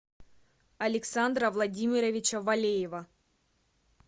александра владимировича валеева